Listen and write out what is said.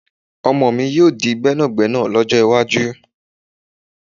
Ọmọ mi yóò di gbẹ́nàgbẹ́nà lọ́jọ́ iwájú